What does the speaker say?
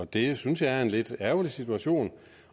det synes jeg er en lidt ærgerlig situation